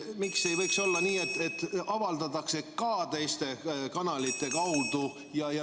Miks ei võiks olla nii, et see teave avaldatakse ka teiste kanalite kaudu?